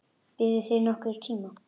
Biðuð þið nokkurn tíma?